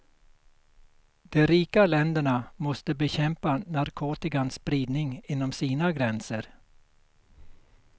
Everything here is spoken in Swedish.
De rika länderna måste bekämpa narkotikans spridning inom sina gränser.